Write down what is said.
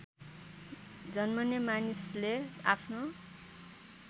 जन्मने मानिसले आफ्नो